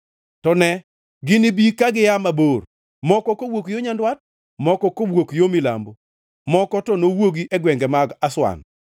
To ne, ginibi ka gia mabor; moko kawuok yo nyandwat, moko kawuok yo yimbo, moko to nowuogi e gwenge mag Aswan.”